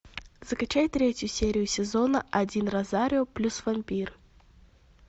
закачай третью серию сезона один розарио плюс вампир